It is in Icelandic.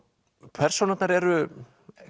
persónurnar eru